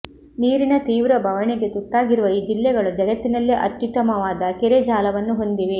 ನೀರಿನ ತೀವ್ರ ಬವಣೆಗೆ ತುತ್ತಾಗಿರುವ ಈ ಜಿಲ್ಲೆಗಳು ಜಗತ್ತಿನಲ್ಲೇ ಅತ್ಯುತ್ತಮವಾದ ಕೆರೆಜಾಲವನ್ನು ಹೊಂದಿವೆ